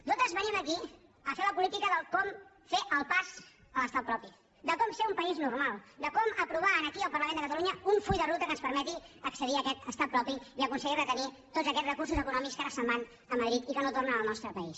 nosaltres venim aquí a fer la política de com fer el pas a l’estat propi de com ser un país normal de com aprovar aquí al parlament de catalunya un full de ruta que ens permeti accedir a aquest estat propi i aconseguir retenir tots aquests recursos econòmics que ara se’n van a madrid i que no tornen al nostre país